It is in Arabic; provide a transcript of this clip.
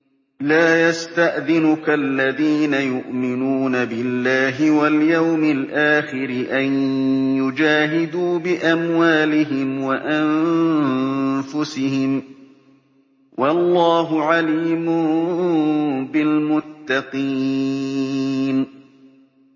لَا يَسْتَأْذِنُكَ الَّذِينَ يُؤْمِنُونَ بِاللَّهِ وَالْيَوْمِ الْآخِرِ أَن يُجَاهِدُوا بِأَمْوَالِهِمْ وَأَنفُسِهِمْ ۗ وَاللَّهُ عَلِيمٌ بِالْمُتَّقِينَ